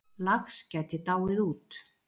Lax gæti dáið út